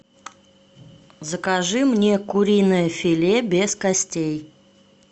закажи мне куриное филе без костей